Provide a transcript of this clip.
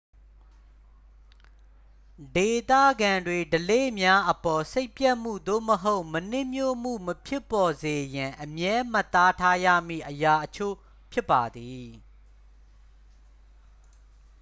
ဒေသခံတွေ ဓလေ့များအပေါ် စိတ်ပျက်မှု သို့မဟုတ် မနှစ်မြို့မှု မဖြစ်ပေါ်စေရန် အမြဲမှတ်သားထားရမည့် အရာအချို့ ဖြစ်ပါသည်